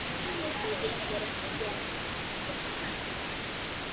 Þau gengu reyndar þétt.